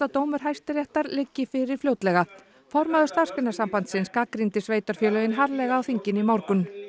dómur Hæstaréttar liggi fyrir fljótlega formaður Starfsgreinasambandsins gagnrýndi sveitarfélögin harðlega á þinginu í morgun